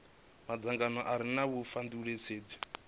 madzangano a re na vhudifhinduleli